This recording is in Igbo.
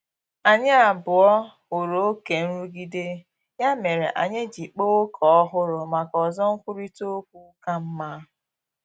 Anyị abụọ hụrụ oke nrụgide, ya mere anyị ji kpaa ókè ọhụrụ maka ozo nkwurịta okwu ka mma